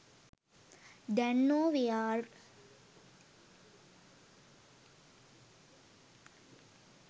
දැන් නෝ වෙයාර්.